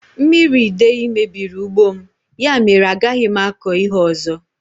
Mmiri idei mebiri ugbo m, ya mèrè a gaghị m akọ ihe ọzọ